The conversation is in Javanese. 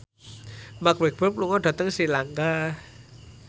Mark Walberg lunga dhateng Sri Lanka